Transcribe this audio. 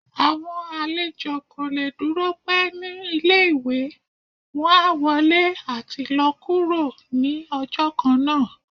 awọn alèjọ ko le dúró pẹ̀ ni ìlé-ìwé, wọn á wọlé ati lọ kúro ni ọjọ kánńa.